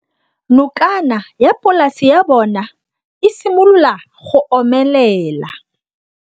Nokana ya polase ya bona, e simolola go omelela.